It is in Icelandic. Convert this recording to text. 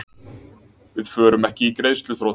Við förum ekki í greiðsluþrot